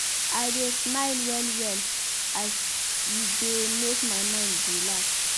I dey smile well-well as e dey make my mind relax.